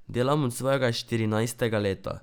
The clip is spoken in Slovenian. Delam od svojega štirinajstega leta.